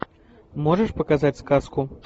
можешь показать сказку